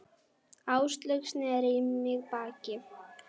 Áslaug sneri í mig baki.